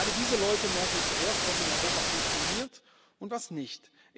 Gerade diese Leute merken zuerst, was in Europa funktioniert und was nicht.